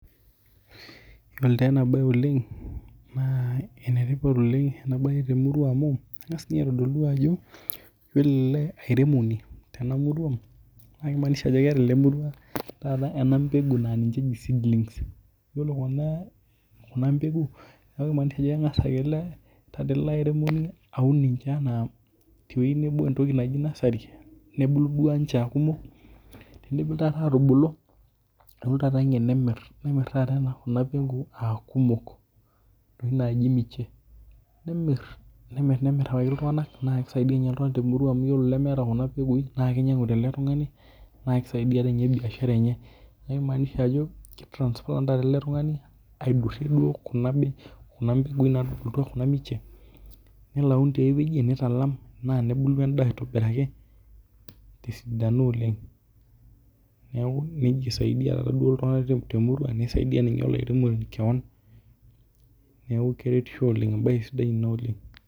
Iyiolo taa ena beoleng ene tipat ena bae oleng' te murua mau kengas ninye aitodolu ajo yiplo ele airemoni tena murua na keimaanisha ajo ena mbegu naa ninye eji seedlings. Iyiolo kuna mpeku naa keimaanisha ajo kengas ayiolo teataa ele airemoni aun teweji nebo entoki naji nursery nebuku duo ninche aa kumok tenidip taata ninche atubulu nepuonu taata ninche nemir nemir taata kuna mpeku aa kumok aa keji miche nemir nemir nemir amiraki iltung'anak naa keisaidia ninye iltung'ana te murua amu ore lemeeta impekuin naa kinyangu tele tung'ani naa kisaidia ninye biashara enye neeku keimaanisha ajo kei transplant taata ele tung'ani aidurue duo kuna mbeguin natubulutua kuna miche nelo aun tiaweji nitalam naa nebuku edaa aitobiraki tee sidano oleng' neeku neija isaidia iltung'ana te murua nisaidia ninye olairemoni keon neeku keretisho oleng' ebae sidai ena oleng'.